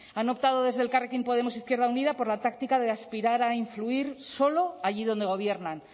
han optado desde elkarrekin podemos e izquierda unida por la táctica de aspirar a influir solo allí donde gobiernan